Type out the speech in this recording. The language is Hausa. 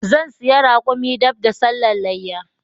Zan siya raƙumin dab da sallan leyya